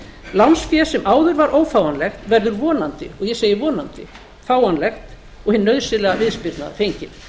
lánsfé sem áður var ófáanlegt verður vonandi og ég segi vonandi fáanlegt og hin nauðsynlega viðspyrna fengin